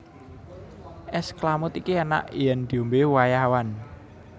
És klamud iki enak yen diombe wayah awan